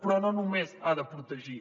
però no només ha de protegir